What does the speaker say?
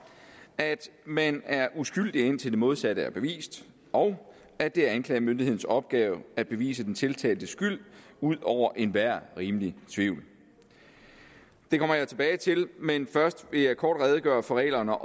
at man er uskyldig indtil det modsatte er bevist og at det er anklagemyndighedens opgave at bevise den tiltaltes skyld ud over enhver rimelig tvivl det kommer jeg tilbage til men først vil jeg kort redegøre for reglerne